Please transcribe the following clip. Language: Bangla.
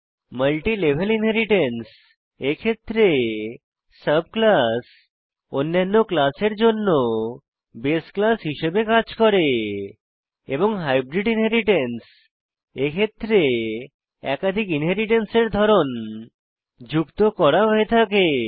মাল্টিলেভেল ইনহেরিট্যান্স এক্ষেত্রে সাব ক্লাস অন্যান্য ক্লাসের জন্য বাসে ক্লাস হিসাবে কাজ করে এবং হাইব্রিড ইনহেরিট্যান্স এক্ষেত্রে একাধিক ইনহেরিট্যান্স এর ধরন যুক্ত হয়ে থাকে